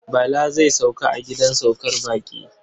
Bala zai sauka a gidan saukar baƙi.